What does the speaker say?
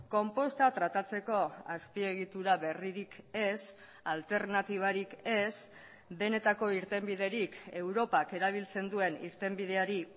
konposta tratatzeko azpiegitura berririk ez alternatibarik ez benetako irtenbiderik europak erabiltzen duen irtenbideari